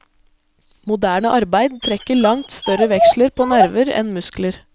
Moderne arbeid trekker langt større veksler på nerver enn muskler.